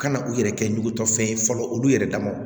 Kana u yɛrɛ kɛ ɲugutɔfɛn ye fɔlɔ olu yɛrɛ dama